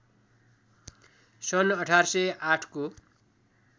सन् १८०८ को